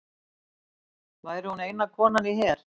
Væri hún eina konan í her